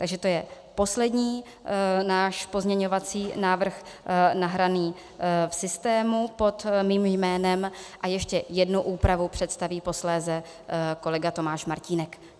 Takže to je poslední náš pozměňovací návrh nahraný v systému pod mým jménem a ještě jednu úpravu představí posléze kolega Tomáš Martínek.